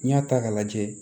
N'i y'a ta k'a lajɛ